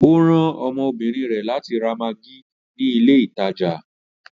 Ọ ran ọmọbínrin rẹ látì rà maggi ni ilẹ̀ ìtajà.